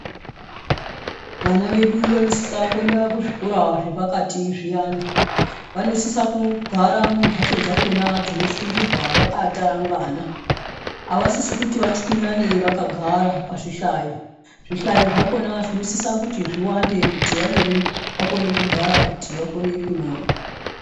Vana vedu vanosisa kuenda kuzvikora zvepakati zviyana vanosisa kugara mumbatso dzakona dzinofundirwa vakatarangana avasisi kuti vachwinyane vakagara pazvihlayo, zvihlayo zvakona zvinosisa kuti zviwande kuti vamweni vakone kugara kuti vakone kunyora.